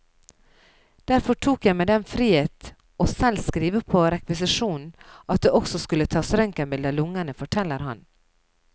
Derfor tok jeg meg den frihet å selv skrive på rekvisisjonen at det også skulle tas røntgenbilde av lungene, forteller han.